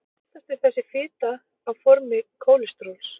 oftast er þessi fita á formi kólesteróls